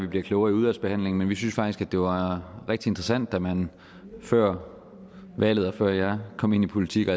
vi bliver klogere i udvalgsbehandlingen men vi synes faktisk at det var rigtig interessant da man før valget og før jeg kom ind i politik og